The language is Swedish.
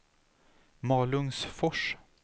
Malungsfors